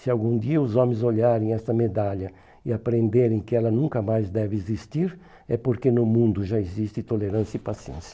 Se algum dia os homens olharem esta medalha e aprenderem que ela nunca mais deve existir, é porque no mundo já existe tolerância e paciência.